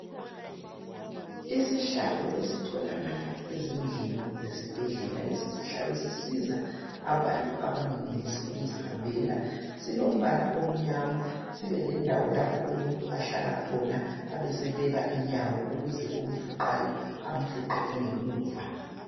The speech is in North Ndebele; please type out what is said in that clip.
Isihlalo esitholakala ezindlini zesibhedlela lesi sihlalo sisiza abantu abangenelisi ukuzihambela. Silombala omnyama, sibelendawo lapho umuntu ahlala khona, abesebeka inyawo ukuze omfuqayo amfuqe engemuva.